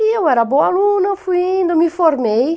E eu era boa aluna, fui indo, me formei.